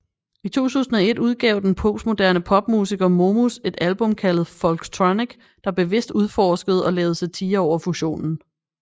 I 2001 udgav den postmoderne popmusiker Momus et album kaldet Folktronic der bevidst udforskerede og lavede satire over fusionen